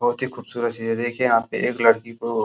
बहोत ही खूबसूरत चीज़ है। देखिये यहाँ पे एक लड़की को --